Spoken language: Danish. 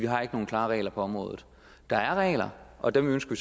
har nogen klare regler på området der er regler og dem ønsker